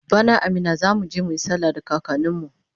bana a Minna zamuje muyi sallah da kakanin mu